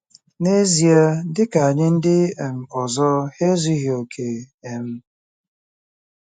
N'ezie, dị ka anyị ndị um ọzọ, ha ezughị okè. um